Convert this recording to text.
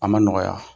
A ma nɔgɔya